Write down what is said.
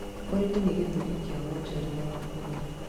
Ũrĩmi nĩ gĩtugĩ kĩa wonjoria wa bũrũri.